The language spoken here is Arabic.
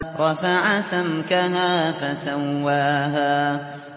رَفَعَ سَمْكَهَا فَسَوَّاهَا